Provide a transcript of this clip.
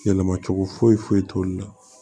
Yɛlɛma cogo foyi t'olu la